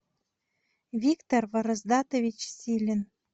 виктор вороздатович силин